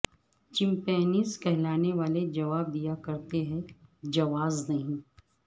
champions کہلانے والے جواب دیا کرتے ہیں جواز نہیں